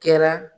Kɛra